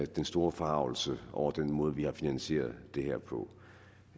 den store forargelse over den måde vi har finansieret det her på